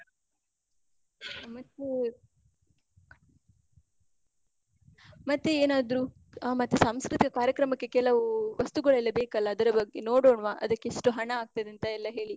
ಮತ್ತೇ? ಮತ್ತೇ ಏನಾದ್ರು, ಆ ಮತ್ತೇ ಸಾಂಸ್ಕೃತಿಕ ಕಾರ್ಯಕ್ರಮಕ್ಕೆ ಕೆಲವು ವಸ್ತುಗಳೆಲ್ಲ ಬೇಕಲ್ಲ, ಅದರ ಬಗ್ಗೆ ನೋಡೋಣ್ವಾ? ಅದಕ್ಕ್ ಎಷ್ಟು ಹಣ ಆಗ್ತದೆಂತ ಎಲ್ಲ ಹೇಳಿ?